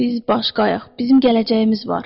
Biz başqayıq, bizim gələcəyimiz var.